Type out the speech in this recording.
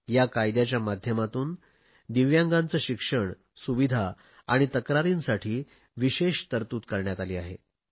या कायद्याच्या माध्यमातून दिव्यांगांचे शिक्षण सुविधा आणि तक्रारींसाठी विशेष तरतूद करण्यात आली आहे